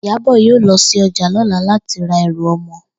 Ìyábò̩ yóò lo̩ sí o̩jà ló̩la láti ra e̩rù o̩mo̩